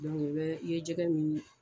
i bɛ i ye jɛgɛ min